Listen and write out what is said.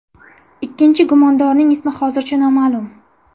Ikkinchi gumondorning ismi hozircha noma’lum.